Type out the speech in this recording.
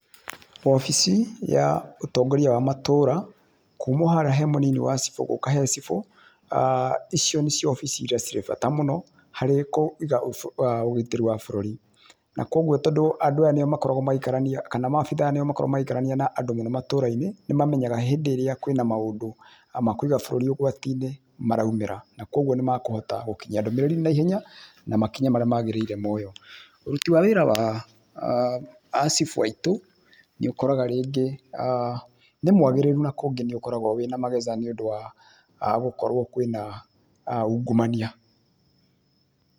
Wabici ya ũtongoria wa matũra kuuma o harĩa he mũnini wa cibũ gũka he cibũ, icio nĩcio wabici irĩa ciĩ bata mũno harĩ kũiga ũgitĩri wa bũrũri. Na kwoguo tondũ andũ aya nĩo makoragwo magĩikarania kana maabitha nĩo makoragwo magĩikarania na andũ me matũrainĩ nĩmamenyaga hĩndĩ ĩrĩa kwĩna maũndũ ma kũiga bũrũri ũgwatiinĩ maraumĩra na kwoguo nĩ makũhota gũkinyia ndũmĩrĩri naihenya na makinya marĩa magĩrĩire moywo. Ũruti wa wĩra wa a cibũ aitũ nĩ ũkoraga rĩngĩ nĩ mwagĩrĩru na kũngĩ nĩũkoragwo wĩna mageca nĩũndũ wa gũkorwo kwĩna ungumania.